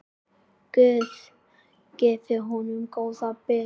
Guð gefi honum góðan byr.